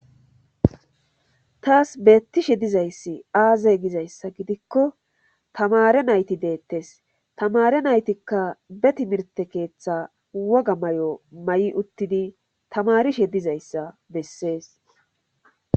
Taas bettishe dizayssi aazay gizayssa gidikko tamare nayti deettes tamare naytikka betimirte keeththa woga may'o ma'i uttidi tamarishe dizayssa bessees.